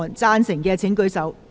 贊成的請舉手。